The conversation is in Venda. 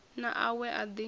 na a we a ḓi